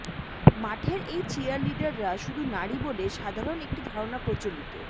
মাঠের এই চিয়ারলিডাররা শুধু নারী বলে সাধারণ একটি ধারণা প্রচলিত